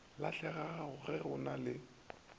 lahlegago ge go ena le